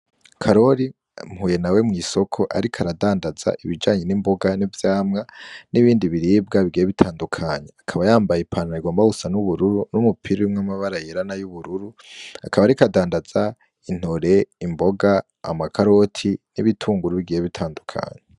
Karori mpuye nawe mw'isoko ariko aradandaza ibijanye n'imboga, nivyamwa nibindi biribwa bigiye bitandukanye akaba yambaye ipantaro igomba gusa n'ubururu n'umupira urimwo amabara yera nayubururu akaba ariko adandaza intore, imboga ,amakaroti ni bitunguru bigiye bitandukanye.